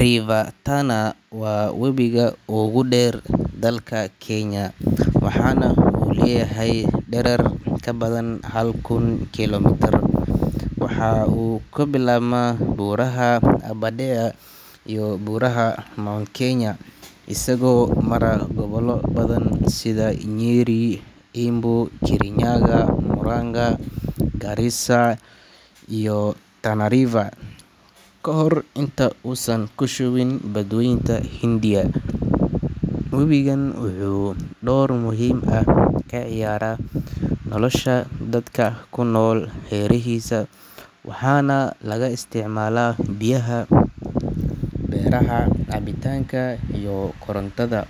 River Tana waa webiga ugu dheer dalka Kenya, waxaana uu leeyahay dherer ka badan hal kun kiiloomitir. Waxa uu ka bilaabmaa buuraha Aberdare iyo Buuraha Mount Kenya, isagoo mara gobollo badan sida Nyeri, Embu, Kirinyaga, Murang’a, Garissa iyo Tana River ka hor inta uusan ku shubin Badweynta Hindiya. Webigan wuxuu door muhiim ah ka ciyaaraa nolosha dadka ku nool hareerihiisa, waxaana laga isticmaalaa biyaha beeraha, cabitaanka, iyo korontada.